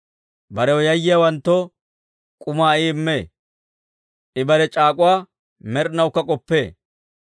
Barew yayyiyaawanttoo k'umaa I immee; I bare c'aak'uwaa med'inawukka k'oppee.